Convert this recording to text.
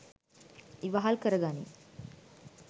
ඉවහල් කර ගනී